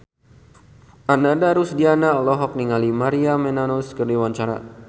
Ananda Rusdiana olohok ningali Maria Menounos keur diwawancara